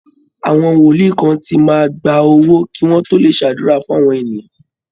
Àwọn Wolíì kan ti máa ń gba owó kí wọ́n tó lè ṣàdúrà fún àwọn èèyàn